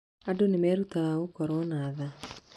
Andũ nĩ merutaga gũkorwo na tha.